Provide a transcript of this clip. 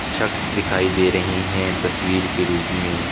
छक्स दिखाई दे रही है तस्वीर के रूप में--